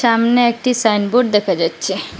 সামনে একটি সাইনবোর্ড দেখা যাচ্ছে।